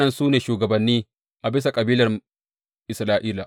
Waɗannan su ne shugabanni a bisa kabilan Isra’ila.